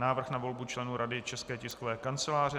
Návrh na volbu členů Rady České tiskové kanceláře